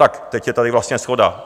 Tak teď je tady vlastně shoda.